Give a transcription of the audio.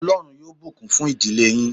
Ọlọ́run yóò bùkún fun ìdílé yín